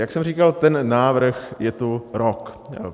Jak jsem říkal, ten návrh je tu rok.